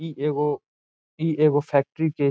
इ एगो इ एगो फैक्टरी के --